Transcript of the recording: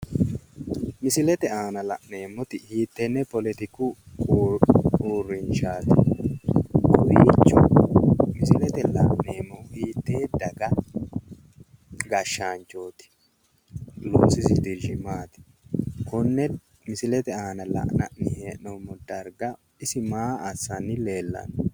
Misilete aana la'neemmoti hiittenne poletiku uurrinshaati? Misilete la'neemmohu hiittee daga gashshaanchooti? Loosisi dirshi maati? Konne misilete aana la'nanni hee'noommo darga isi maa assanni leellanno?